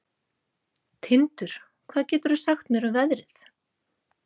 Tindur, hvað geturðu sagt mér um veðrið?